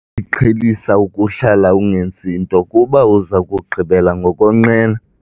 qhelisa ukuhlala ungenzi nto kuba uza kugqibela ngokonqena.